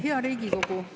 Hea Riigikogu!